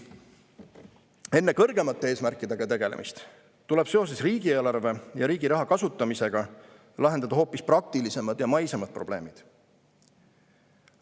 Enne kõrgemate eesmärkidega tegelemist tuleb seoses riigieelarve ja riigi raha kasutamisega lahendada hoopis praktilisemad ja maisemad probleemid.